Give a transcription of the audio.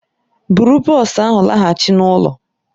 Bụrụ bọs ahụ laghachi n'ụlọ!